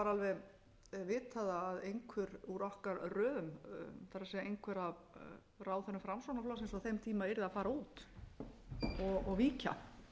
alveg vitað að einhver úr okkar röðum það er einhver af ráðherrum framsóknarflokksins á þeim tíma yrði að fara út og víkja